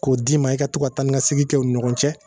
K'o d'i ma i ka to taa ni ka segin kɛ u ni ɲɔgɔn cɛ